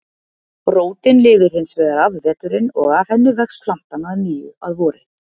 Rótin lifir hins vegar af veturinn og af henni vex plantan að nýju að vori.